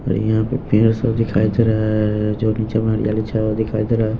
और यहां पे पेड़ सब दिखाई दे रहा है जो नीचे में हरियाली छाया हुआ दिखाई दे रहा है।